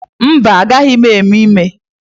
Mba, agbaghị m ime ime.